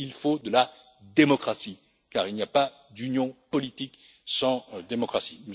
Il faut de la démocratie, car il n'y a pas d'union politique sans démocratie.